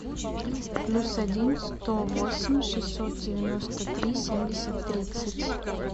плюс один сто восемь шестьсот девяносто три семьдесят тридцать